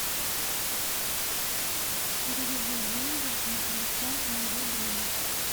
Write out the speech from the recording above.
переведи деньги на телефон моего друга